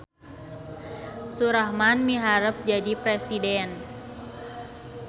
Surahman miharep jadi presiden